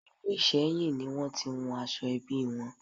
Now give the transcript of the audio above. Ìlú Ìsẹ́yìn ni wón ti wun aṣọ ẹbí wọn.